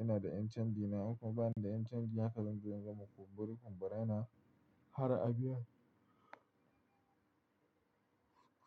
Ina da MTN dina. In kuma bani da MTN, haka zan zo in gama kumbari kum bara, yana har abiyan.